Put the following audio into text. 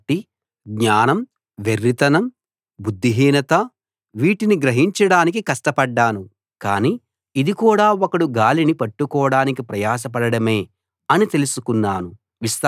కాబట్టి జ్ఞానం వెర్రితనం బుద్ధిహీనత వీటిని గ్రహించడానికి కష్టపడ్డాను కానీ ఇది కూడా ఒకడు గాలిని పట్టుకోడానికి ప్రయాసపడడమే అని తెలుసుకున్నాను